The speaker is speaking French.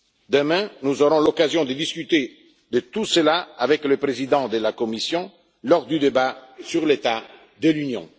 Demain, nous aurons l'occasion de discuter de tout cela avec le président de la Commission, lors du débat sur l'état de l'Union.